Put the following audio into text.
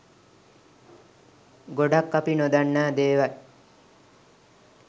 ගොඩක් අපි නොදන්නා දේවල්